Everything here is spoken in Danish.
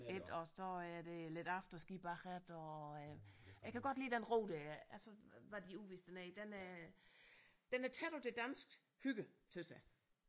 Ik og så er der lidt afterski bagefter og øh jeg kan godt lide den ro der er altså hvad de udviste dernede den øh den er tæt på det danske hygge synes jeg